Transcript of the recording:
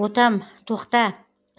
ботам тоқта